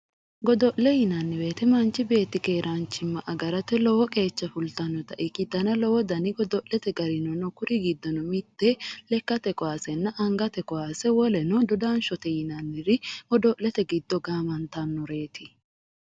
Godo'le yinanni woyiite manchi beetti keraanchimma agarate lowo qeecha fultannota ikkitanna lowo dani godo'leet gari no kuri giddono lekkate kaasenna angate kaase godo'lete giddo gaamantannoreeti